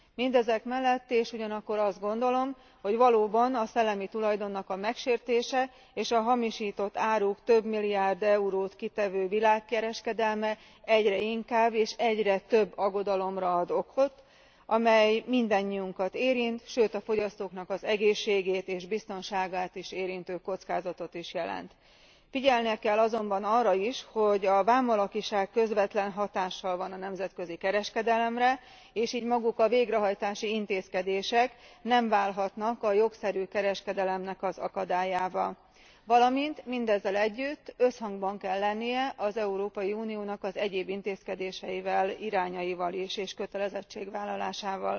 Mindezek mellett és ugyanakkor azt gondolom, hogy valóban a szellemi tulajdonnak a megsértése és a hamisított áruk több milliárd eurót kitevő világkereskedelme egyre inkább és egyre több aggodalomra ad okot, amely mindannyiunkat érint, sőt a fogyasztóknak az egészségét és biztonságát is érintő kockázatot is jelent. Figyelni kell azonban arra is, hogy a vámalakiság közvetlen hatással van a nemzetközi kereskedelemre, és így maguk a végrehajtási intézkedések nem válhatnak a jogszerű kereskedelemnek az akadályává. Valamint mindezzel együtt összhangban kell lennie az Európai Uniónak az egyéb intézkedéseivel, irányaival is és kötelezettségvállalásával.